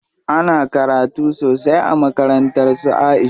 Ana karatu sosai a makarantar su Aisha.